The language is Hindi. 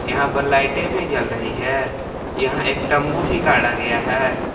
यहां पर लाइटे भी जल रही है यहां एक तंबू भी गाड़ा गया है।